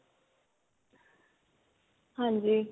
ਹਾਂਜੀ